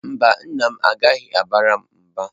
Mba, nna m agaghị abara m mba.